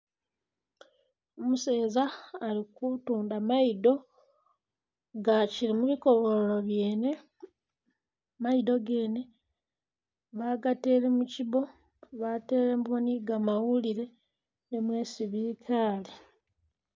Umuseza ali kutunda mayido nga akili mwikobolyo lyene, mayido gene bagatele mu kibo batelemu ni gamawulile mwesi bikaale